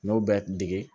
N y'o bɛ dege